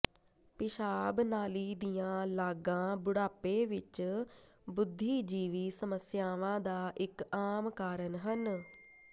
ਪਿਸ਼ਾਬ ਨਾਲੀ ਦੀਆਂ ਲਾਗਾਂ ਬੁਢਾਪੇ ਵਿੱਚ ਬੁੱਧੀਜੀਵੀ ਸਮੱਸਿਆਵਾਂ ਦਾ ਇੱਕ ਆਮ ਕਾਰਨ ਹਨ